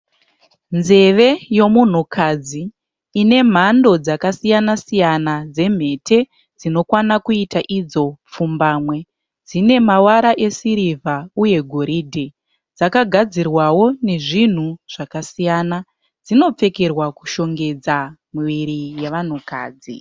Nzeve yomunhukadzi inemhando dzakasiyana-siyana dzemhete dzinokwana kuita idzo pfumbamwe. Dzinemavara esirivha uye goridhe. Dzakagadzirwawo nezvinhu zvakasiyana. Dzinopfekerwa kushongedza miviri yevanhukadzi.